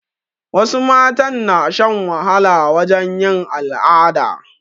Wasu matan na shan wahala wajen yin al'ada